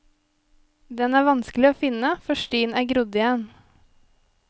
Den er vanskelig å finne, for stien er grodd igjen.